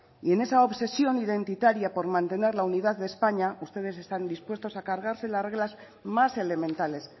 y en esa obsesión identitaria por mantener la unidad de españa ustedes están dispuestos a cargarse las reglas más elementales